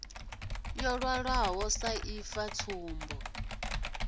yo ṅwalwaho sa ifa tsumbo